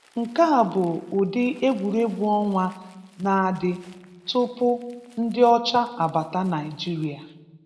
Nke a bụ ụdi Egwuruegwu ọnwa na-adị tụpụ ndị ọcha abata Naijịrịa